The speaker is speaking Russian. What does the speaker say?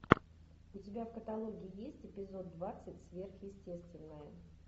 у тебя в каталоге есть эпизод двадцать сверхъестественное